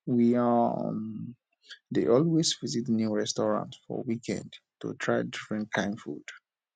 we um dey always visit new restaurant for weekend to try different kain food